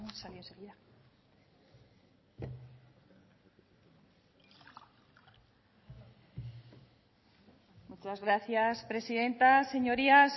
muchas gracias presidenta señorías